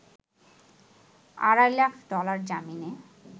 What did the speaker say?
আড়াই লাখ ডলার জামিনে